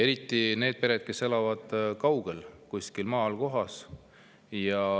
Eriti nendest peredest, kes elavad kuskil kaugel maakohas.